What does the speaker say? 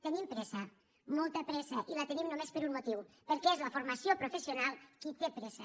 tenim pressa molta pressa i la tenim només per un motiu perquè és la formació professional qui té pressa